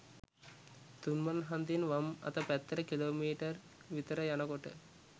තුන් මං හන්දියෙන් වම් අත පැත්තට කිලෝමීටර්ක් විතර යනකොට